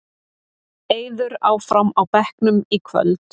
Eiður áfram á bekknum í kvöld